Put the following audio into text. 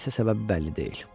Nə isə səbəbi bəlli deyil.